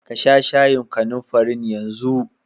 Kasha shayin kanumfarin yanzu!